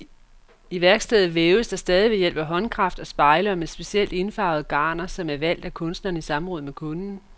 I værkstedet væves der stadig ved hjælp af håndkraft og spejle og med specielt indfarvede garner, som er valgt af kunstneren i samråd med kunden.